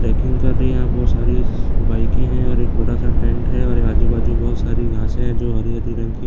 packing कर रही है यहाँ बहुत सारी बाइक है और एक बड़ा-सा टेंट है और आजू-बाजू बहुत सारी घांसे है जो हरी-हरी रंग की --